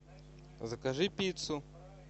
закажи пиццу